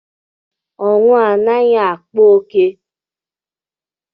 Ọnwụ anaghị akpa ókè